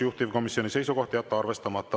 Juhtivkomisjoni seisukoht on jätta arvestamata.